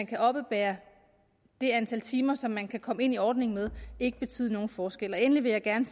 kan oppebære det antal timer som man kan komme ind i ordningen med ikke betyde nogen forskel endelig vil jeg gerne